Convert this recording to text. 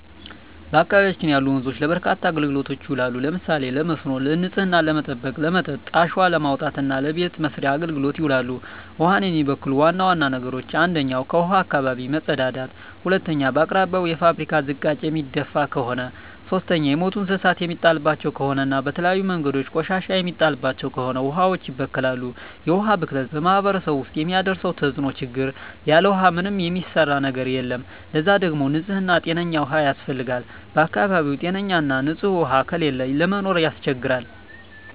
በአካባቢያችን ያሉ ወንዞች ለበርካታ አገልግሎቶች ይውላሉ። ለምሳሌ ለመስኖ፣ ንጽህናን ለመጠበቅ፣ ለመጠጥ፣ አሸዋ ለማውጣት እና ለበቤት መሥርያ አገልግሎት ይውላሉ። ውሀን የሚበክሉ ዋና ዋና ነገሮች 1ኛ ከውሀዋች አካባቢ መጸዳዳት መጸዳዳት 2ኛ በአቅራቢያው የፋብሪካ ዝቃጭ የሚደፍ ከሆነ ከሆነ 3ኛ የሞቱ እንስሳት የሚጣልባቸው ከሆነ እና በተለያዩ መንገዶች ቆሻሻ የሚጣልባቸው ከሆነ ውሀዋች ይበከላሉ። የውሀ ብክለት በማህረሰቡ ውስጥ የሚያደርሰው ተጽዕኖ (ችግር) ያለ ውሃ ምንም የሚሰራ ነገር የለም ለዛ ደግሞ ንጽህና ጤነኛ ውሃ ያስፈልጋል በአካባቢው ጤነኛ ና ንጽህ ውሃ ከሌለ ለመኖር ያስቸግራል።